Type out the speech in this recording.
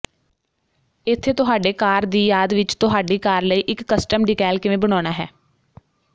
ਇੱਥੇ ਤੁਹਾਡੇ ਕਾਰ ਦੀ ਯਾਦ ਵਿੱਚ ਤੁਹਾਡੀ ਕਾਰ ਲਈ ਇੱਕ ਕਸਟਮ ਡੀਕੈਲ ਕਿਵੇਂ ਬਣਾਉਣਾ ਹੈ